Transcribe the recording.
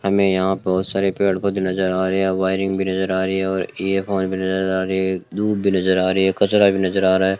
हमें यहां बहुत सारे पेड़ पौधे नजर आ रहे हैं वायरिंग भी नजर आ रही है और ईयर फोन भी नजर आ रही है धूप भी नजर आ रही हैं कचरा भी नजर आ रहा है।